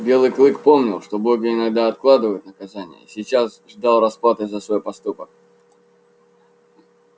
белый клык помнил что боги иногда откладывают наказание и сейчас ждал расплаты за свой проступок